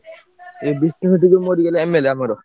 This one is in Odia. ଏ ବିଷ୍ନୁ ଯୋଉ ମରିଗଲେ MLA ଆମର।